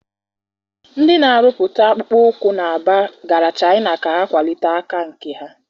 Ndị na-arụpụta akpụkpọ ụkwụ na Aba gara Chaịna ka ha kwalite aka nka ha.